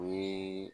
O ye